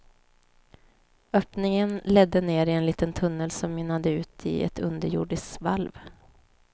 Öppningen ledde ner i en liten tunnel som mynnade ut i ett underjordiskt valv.